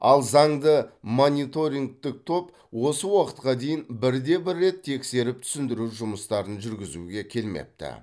ал заңды мониторингтік топ осы уақытқа дейін бірде бір рет тексеріп түсіндіру жұмыстарын жүргізуге келмепті